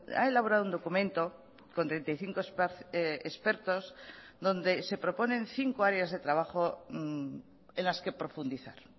ha elaborado un documento con treinta y cinco expertos donde se proponen cinco áreas de trabajo en las que profundizar